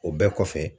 O bɛɛ kɔfɛ